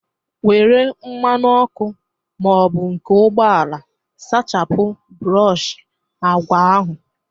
Nwere mmanụ ọkụ ma ọ bụ nke ụgbọala sachapụ brọshị agwa ahụ!